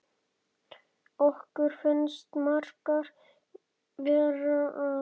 Okkur finnst margt vera að.